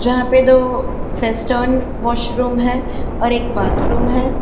जहां पे दो वेस्टर्न वॉशरूम है और एक बाथरूम है।